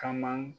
Kama